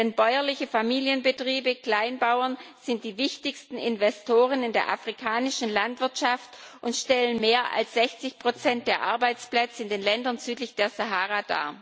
Denn bäuerliche Familienbetriebe Kleinbauern sind die wichtigsten Investoren in der afrikanischen Landwirtschaft und stellen mehr als 60 der Arbeitsplätze in den Ländern südlich der Sahara.